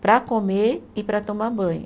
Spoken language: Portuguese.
para comer e para tomar banho.